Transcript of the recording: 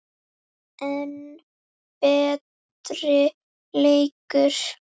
enn betri leikur.